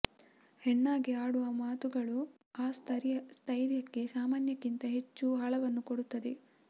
ಹೆಣ್ಣಾಗಿ ಆಡುವ ಮಾತುಗಳು ಆ ಸ್ಥೈರ್ಯಕ್ಕೆ ಸಾಮಾನ್ಯಕ್ಕಿಂತ ಹೆಚ್ಚು ಆಳವನ್ನು ಕೊಡುತ್ತದೆ